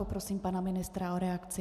Poprosím pana ministra o reakci.